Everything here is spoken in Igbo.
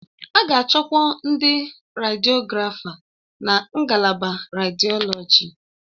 A ga-achọkwu ndị rediọgrafa na ngalaba rediọlọji.